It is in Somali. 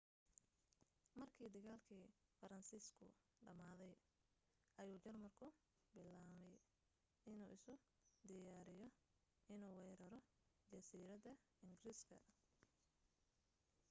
markii dagaalkii faransiisku dhamaaday ayuu jarmalku bilaabay inuu isu diyaariyo inuu weeraro jasiiradda ingiriiska